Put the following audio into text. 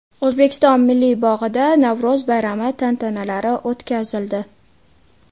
O‘zbekiston Milliy bog‘ida Navro‘z bayrami tantanalari o‘tkazildi .